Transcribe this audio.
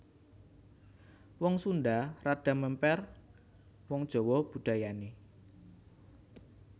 Wong Sundha rada mèmper wong Jawa budayané